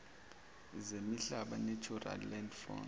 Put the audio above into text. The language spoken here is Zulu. zemihlaba natural landforms